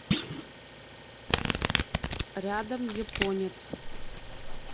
рядом японец